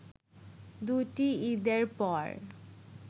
দুটি ঈদের পর